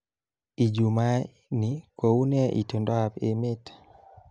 Ijumaa ni kounee itondoab emet